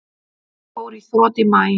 Hún fór í þrot í maí.